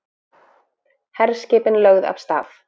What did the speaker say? Herskipin lögð af stað